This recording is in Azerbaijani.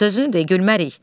Yaxşı, sözünü de, gülmərik.